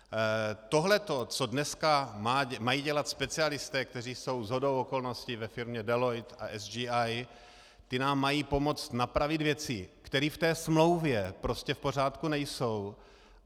Tohleto co dnes mají dělat specialisté, kteří jsou shodou okolností ve firmě Deloitte a CGI, ti nám mají pomoct napravit věci, které v té smlouvě prostě v pořádku nejsou.